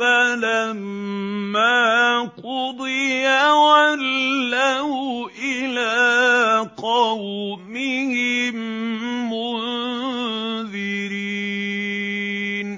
فَلَمَّا قُضِيَ وَلَّوْا إِلَىٰ قَوْمِهِم مُّنذِرِينَ